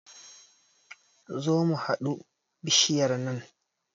Zo mu hadu bishiyar nan